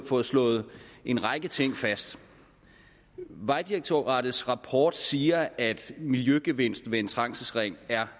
fået slået en række ting fast vejdirektoratets rapport siger at miljøgevinsten ved en trængselsring er